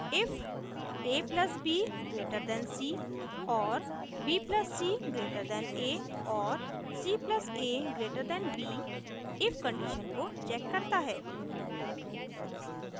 if $a + $b> $c और $b + $c> $a और $c + $a> $b if condition को checks करता है